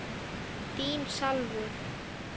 Þín Salvör.